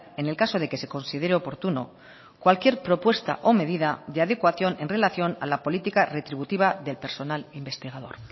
en el caso de que se considere oportuno cualquier propuesta o medida de adecuación en relación a la política retributiva del personal investigador